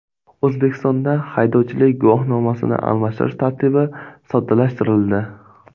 O‘zbekistonda haydovchilik guvohnomasini almashtirish tartibi soddalashtirildi.